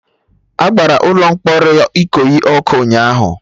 Agbara ụlọ mkpọrọ Ikoyi ọkụ ụnyaahụ